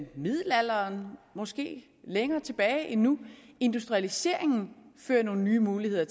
middelalderen måske længere tilbage endnu industrialiseringen førte nogle nye muligheder